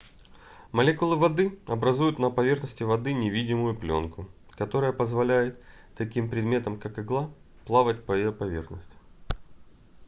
молекулы воды образуют на поверхности воды невидимую плёнку которая позволяет таким предметам как игла плавать по ее поверхности